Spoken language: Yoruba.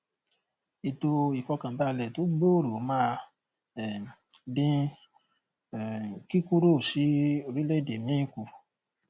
ètò ìfọkànbálẹ tó gbòòrò máa um dín um kíkúrò sí orílẹèdè míì kù